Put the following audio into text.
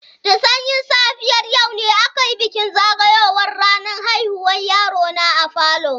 Da sanyin safiyar yau ne aka yi bikin zagayowar ranar haihuwar yaro na a falo.